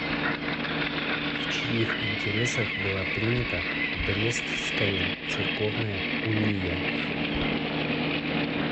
в чьих интересах была принята брестская церковная уния